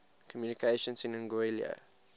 communications in anguilla